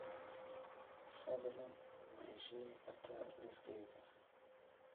fadlan ma ii sheegi kartaa liiskayga